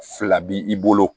Fila b'i bolo